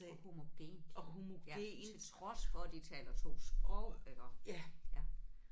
Og homogent ja til trods for de at taler 2 sprog eller ja